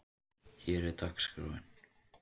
Hér er dagskráin: